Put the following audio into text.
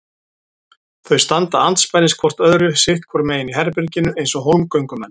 Þau standa andspænis hvort öðru sitt hvoru megin í herberginu eins og hólmgöngumenn.